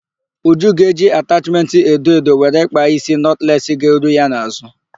Uju ga-eji atachmentị edo edo were kpaa ísí nọtless ga-eru ya n'azụ.